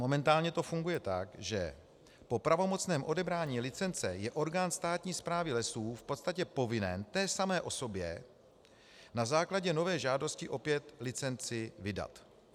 Momentálně to funguje tak, že po pravomocném odebrání licence je orgán státní správy lesů v podstatě povinen té samé osobě na základě nové žádosti opět licenci vydat.